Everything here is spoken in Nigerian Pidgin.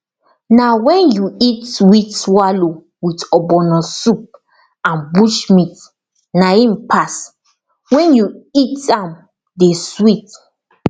na wen you eat wheat swallow with ogbono soup and bushmeat na im pass wen you eat am dey sweet